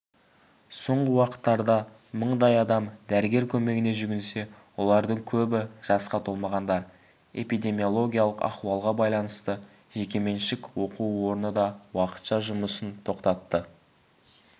соңғы уақыттарда мыңдай адам дәрігер көмегіне жүгінсе олардың көбі жасқа толмағандар эпидемиологиялық ахуалға байланысты жекеменшік оқу орны да уақытша жұмысын тоқтатты